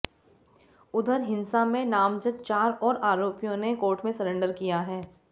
उधऱ हिंसा में नामज़द चार और आरोपियों ने कोर्ट में सरेंडर किया है